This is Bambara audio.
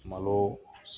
Malo